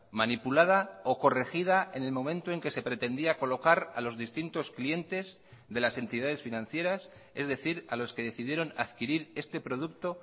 manipulada o corregida en el momento en que se pretendía colocar a los distintos clientes de las entidades financieras es decir a los que decidieron adquirir este producto